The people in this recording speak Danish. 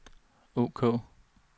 ok